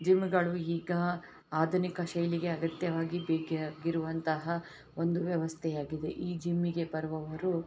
ಜಿಮ್ಗ ಳು ಇಗ ಅಧುನಿಕ ಶೈಲಿಗೆ ಅಗತ್ಯವಾಗಿ ಬೇಕಾಗಿರುವಂತಹ ಒಂದು ವ್ಯವಸ್ಥೆಯಾಗಿದೆ ಈ ಜಿಮ್ಗ ಯೇ ಬರುವವರು --